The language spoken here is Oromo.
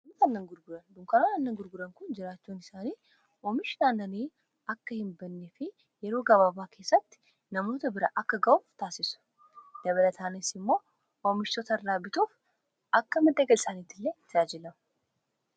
annan gurguran dunkanaan annan gurguran kun jiraachuun isaanii oomishni aannanii akka hin banne fi yeroo gabaabaa keessatti namoota bira akka ga'u taasisu .dabalataanisi immoo oomishtota irraa bituuf akka madda galii isaaniitti illee ijaajilamu.